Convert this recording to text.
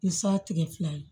Ni sa tigɛ fila ye